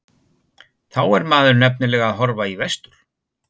Þá er maður nefnilega að horfa í vestur.